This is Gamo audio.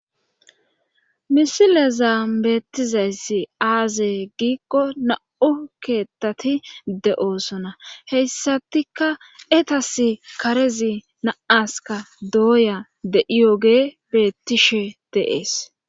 Misile zaambeettizayssi aaze giikko na'u keettati de'oosona heyssatika etas karezi naaska dooya de'iyogee bettishe deees.